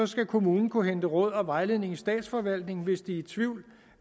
skal kommunen kunne hente råd og vejledning i statsforvaltningen hvis de er i tvivl